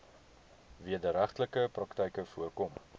wederregtelike praktyke voorkom